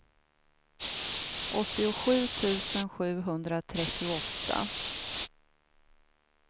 åttiosju tusen sjuhundratrettioåtta